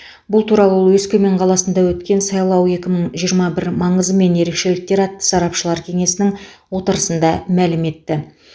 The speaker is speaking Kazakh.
бұл туралы ол өскемен қаласында өткен сайлау екі мың жиырма бір маңызы мен ерекшеліктері атты сарапшылар кеңесінің отырысында мәлім етті